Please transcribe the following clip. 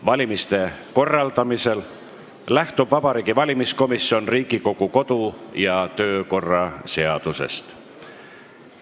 Valimiste korraldamisel lähtub Vabariigi Valimiskomisjon Riigikogu kodu- ja töökorra seadusest.